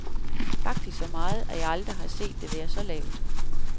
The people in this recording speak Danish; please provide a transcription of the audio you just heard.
Faktisk så meget, at jeg aldrig har set det være så lavt.